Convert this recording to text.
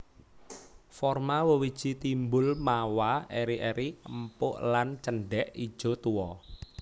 Forma wewiji timbul mawa eri eri empuk lan cendhèk ijo tuwa